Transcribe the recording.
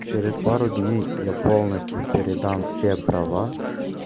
через пару дней я полностью передам все права